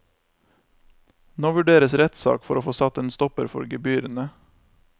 Nå vurderes rettssak for å få satt en stopper for gebyrene.